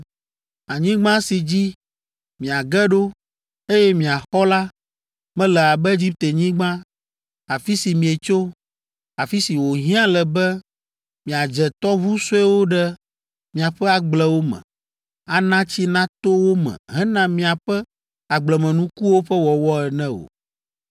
Anyigba si dzi miage ɖo, eye miaxɔ la, mele abe Egiptenyigba, afi si mietso, afi si wòhiã le be miadze tɔʋu suewo ɖe miaƒe agblewo me, ana tsi nato wo me hena miaƒe agblemenukuwo ƒe wɔwɔ ene o.